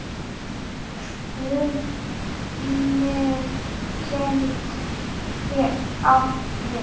Hrunið gæti átt við